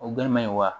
O gɛrɛ man ɲi wa